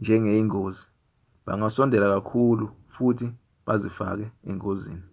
njengeyingozi bangasondela kakhulu futhi bazifake engozini